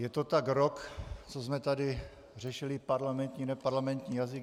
Je to tak rok, co jsme tady řešili parlamentní - neparlamentní jazyk.